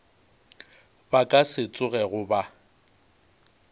ba ka se tsogego ba